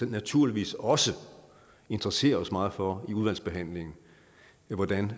naturligvis også interessere os meget for i udvalgsbehandlingen hvordan